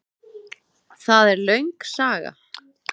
Það er löng saga.